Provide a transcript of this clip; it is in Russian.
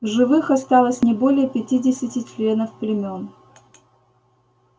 в живых осталось не более пятидесяти членов племён